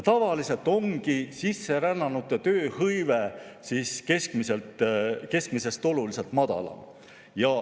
Tavaliselt ongi sisserännanute tööhõive keskmisest oluliselt madalam.